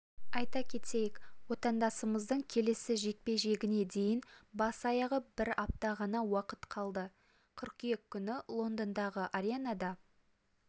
айта кетейік отандасымыздың келесі жекпе-жегіне дейін бас-аяғы бір апта ғана уақыт қалды қыркүйек күні лондондағы аренада